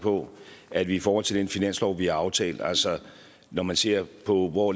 på at vi i forhold til den finanslov vi har aftalt altså når man ser på hvor